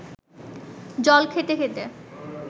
জল খেতে খেতে